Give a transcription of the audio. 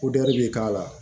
bɛ k'a la